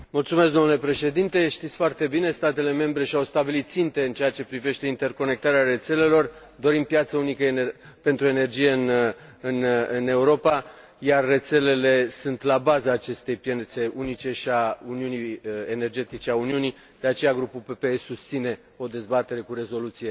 Domnule Președinte, știți foarte bine, statele membre și au stabilit ținte în ceea ce privește interconectarea rețelelor, dorind piață unică pentru energie în Europa, iar rețelele sunt la baza acestei piețe unice și a uniunii energetice a Uniunii, de aceea grupul PPE susține o dezbatere cu rezoluție